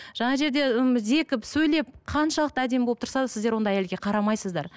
жаңағы жерде м зекіп сөйлеп қаншалықты әдемі болып тұрса да сіздер ондай әйелге қарамайсыздар